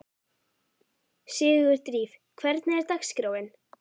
Sigurdríf, hvernig er dagskráin?